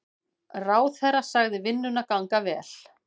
Ráðherra sagði vinnuna ganga vel.